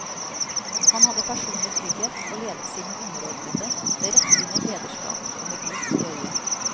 Han hadde personlig trygghet og ledet sine underordnede med rettlinjet lederskap og med glimt i øyet.